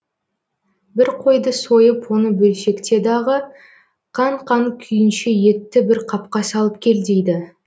бір қойды сойып оны бөлшекте дағы қан қан күйінше етті бір қапқа салып кел дейді